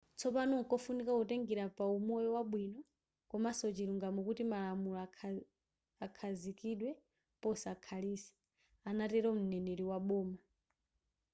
tsopano nkofunika kutengela pa umoyo wabwino komanso chilungamo kuti malamulo akhazikidwe posakhalitsa” anatelo m;neneri wa boma